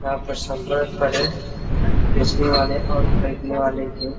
यहाँ पर संपर्क करे पीछले वाले और बैठने वाले से --